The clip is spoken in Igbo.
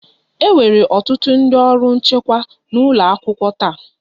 E nwere ọtụtụ ndị ọrụ nchekwa n'ụlọ akwụkwọ taa